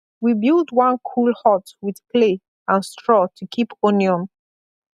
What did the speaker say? we build one cool hut with clay and straw to keep onion